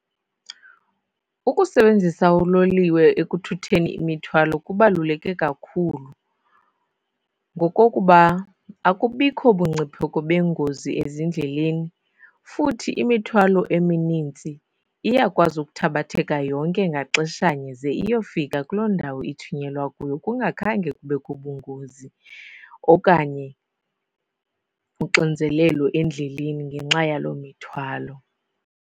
Ukusebenzisa uloliwe ekuthutheni imithwalo kubaluleke kakhulu ngokokuba akubikho bungcipheko bengozi ezindleleni, futhi imithwalo eminintsi iyakwazi ukuthabatheka yonke ngaxeshanye ze iyofika kuloo ndawo ithunyelwa kuyo kungakhange kubekho bungozi okanye uxinzelelo endleleni ngenxa yaloo mithwalo.